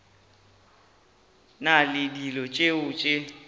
na le dilo tšeo di